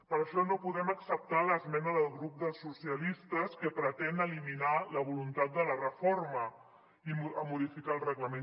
per això no podem acceptar l’esmena del grup dels socialistes que pretén eliminar la voluntat de la reforma i de modificar el reglament